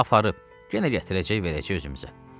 Aparıb, yenə gətirəcək, verəcək özümüzə.